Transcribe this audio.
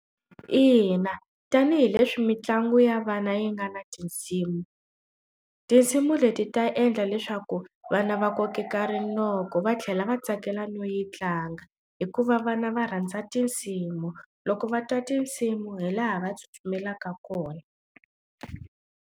Ina, tanihileswi mitlangu ya vana yi nga na tinsimu tinsimu leti ta endla leswaku vana va kokeka rinoko va tlhela va tsakela no yi tlanga hikuva vana va rhandza tinsimu loko va twa tinsimu hi laha va tsutsumela eka kona.